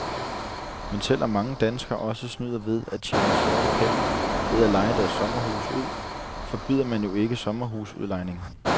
Men selv om mange danskere også snyder ved at tjene sorte penge ved at leje deres sommerhuse ud, forbyder man jo ikke sommerhusudlejning.